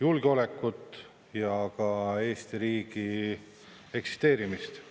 julgeolekut ja ka Eesti riigi eksisteerimist.